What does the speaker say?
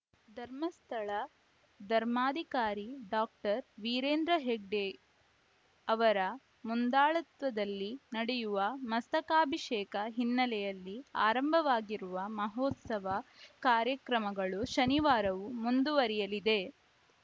ಧರ್ಮಸ್ಥಳ ಧರ್ಮಾಧಿಕಾರಿ ಡಾಕ್ಟರ್ ವೀರೇಂದ್ರ ಹೆಗ್ಗಡೆ ಅವರ ಮುಂದಾಳತ್ವದಲ್ಲಿ ನಡೆಯುವ ಮಸ್ತಕಾಭಿಷೇಕ ಹಿನ್ನೆಲೆಯಲ್ಲಿ ಆರಂಭವಾಗಿರುವ ಮಹೋತ್ಸವ ಕಾರ್ಯಕ್ರಮಗಳು ಶನಿವಾರವೂ ಮುಂದುವರಿಯಲಿದೆ